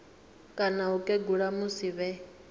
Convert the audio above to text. kana u kegula musi vhe